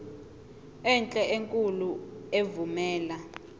enhle enkulu evumela